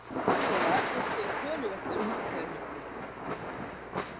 Fjölmiðlar fjölluðu töluvert um hátíðahöldin.